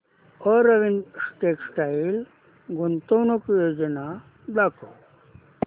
Arvind textile गुंतवणूक योजना दाखव